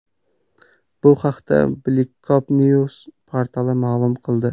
bu haqda Blikopnieuws portali ma’lum qildi .